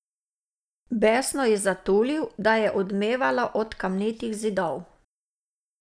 Besno je zatulil, da je odmevalo od kamnitih zidov.